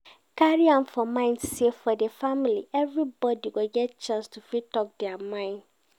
Carry am for mind say for di family everybody go get chance to fit talk their mind